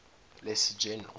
lesser general